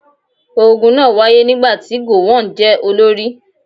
Ogun náà wáyé nígbà tí gowon jẹ́ olórí.